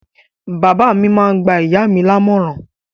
Bàbá mi máá ń gba ìyá mi lámọ̀ràn